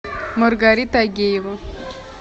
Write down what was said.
маргарита агеева